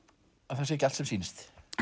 það sé ekki allt sem sýnist